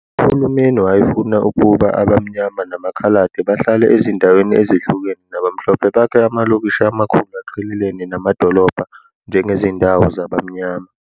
Uhulumeni wayefuna ukuba abaMnyama namaKhaladi bahlale ezindaweni ezihlukene nabaMhlophe bakhe amalokishi amakhulu aqhelelene namadolobha njengezindawo zabaMnyama.